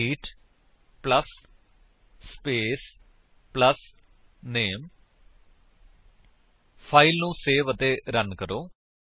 greet plus space plus name file ਨੂੰ save ਅਤੇ run ਕਰੋ